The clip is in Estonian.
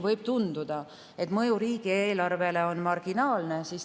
Võib tunduda, et mõju riigieelarvele on marginaalne.